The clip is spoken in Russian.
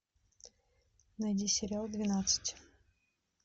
найди сериал двенадцать